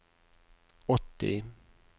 åtti